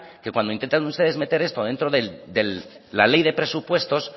que cuando intentan meter esto dentro de la ley de presupuestos